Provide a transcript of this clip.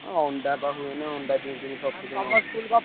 ଅଣ୍ଡା ବା ହୁଏନି ଅଣ୍ଡା ଦିଅନ୍ତିନି sufficient ।